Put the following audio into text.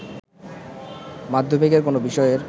মাধ্যমিকের কোনো বিষয়ের